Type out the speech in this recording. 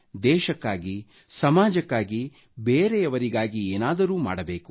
ದೇಶಕ್ಕಾಗಿ ಸಮಾಜಕ್ಕಾಗಿ ಬೇರೆಯವರಿಗಾಗಿ ಏನಾದರೂ ಮಾಡಬೇಕು